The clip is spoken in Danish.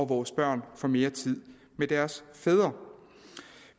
vores børn får mere tid med deres fædre